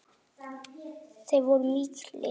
Þeir voru miklir.